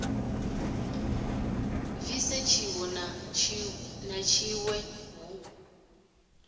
bvise tshiwe na tshiwe hu